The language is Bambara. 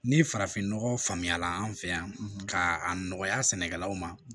Ni farafinnɔgɔ faamuyala an fɛ yan ka nɔgɔya sɛnɛkɛlaw ma